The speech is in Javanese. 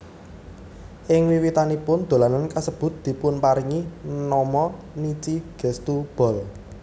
Ing wiwitanipun dolanan kasebut dipunparingi nama Nichi Getsu Ball